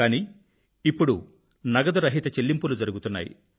కానీ ఇప్పుడు నగదురహిత చెల్లింపులు జరుగుతున్నాయి